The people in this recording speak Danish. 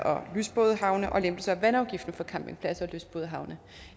og lystbådehavne og lempelser af vandafgiften for campingpladser og lystbådehavne